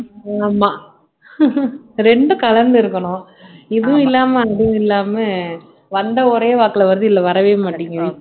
ஆமாம் இரண்டும் கலந்து இருக்கணும் இதுவும் இல்லாமல் அதுவும் இல்லாமல் வந்த ஒரே வாக்குல வருது இல்லை வரவே மாட்டேங்குது